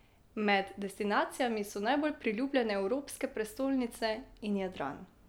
Med destinacijami so najbolj priljubljene evropske prestolnice in Jadran.